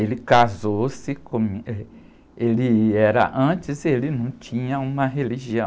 Ele casou-se com, eh, ele era, antes ele não tinha uma religião.